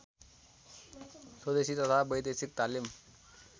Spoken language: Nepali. स्वदेशी तथा वैदेशिक तालिम